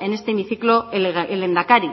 en este hemiciclo el lehendakari